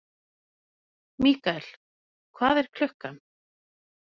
Mikael, hvað er klukkan?